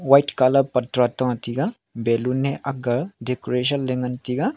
white colour patra ta tega balloon e akga decoration le ngan tega.